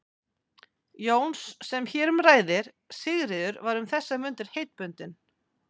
Jóns sem hér um ræðir, Sigríður, var um þessar mundir heitbundin